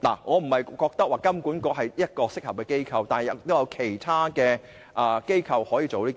我並非覺得金管局是一個適合的機構，亦有其他機構可以做到。